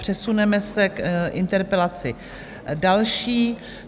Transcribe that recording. Přesuneme se k interpelaci další.